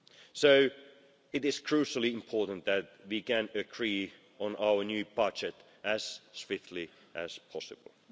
So it is crucially important that we can agree on our new budget as swiftly as possible.